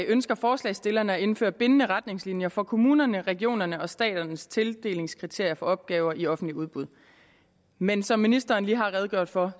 ønsker forslagsstillerne at indføre bindende retningslinjer for kommunerne regionerne og statens tildelingskriterier for opgaver i offentligt udbud men som ministeren lige har redegjort for